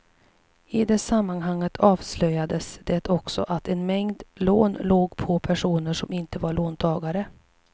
I det sammanhanget avslöjades det också att en mängd lån låg på personer som inte var låntagare.